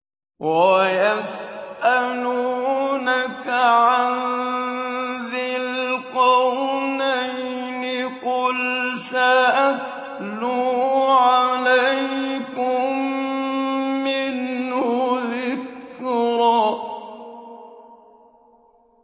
وَيَسْأَلُونَكَ عَن ذِي الْقَرْنَيْنِ ۖ قُلْ سَأَتْلُو عَلَيْكُم مِّنْهُ ذِكْرًا